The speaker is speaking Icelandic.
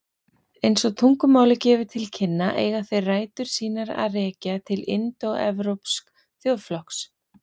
Eins og tungumálið gefur til kynna eiga þeir rætur sínar að rekja til indóevrópsks þjóðflokks.